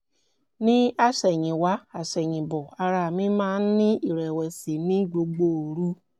ní àsẹ̀yìnwá àsẹ̀yìnbọ̀ ara mi máa ń ní ìrẹ̀wẹ̀sì ní gbogbo òru